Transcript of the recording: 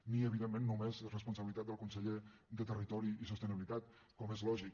ni evidentment només és responsabilitat del conseller de territori i sostenibilitat com és lògic